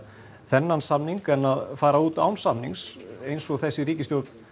þennan samning en að fara út án samnings eins og þessi ríkisstjórn